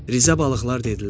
Rizə balıqlar dedilər: